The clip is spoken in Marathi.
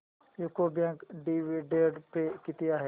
यूको बँक डिविडंड पे किती आहे